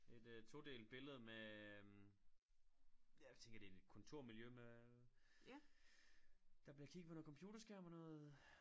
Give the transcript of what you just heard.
Et øh todelt billede med jeg tænker det et kontormiljø med der bliver kigget på noget computerskærm og noget